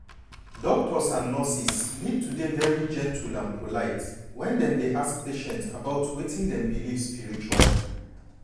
doctors and nurses need to dey very gentle and polite when dem dey ask patient about wetin dem believe spiritually.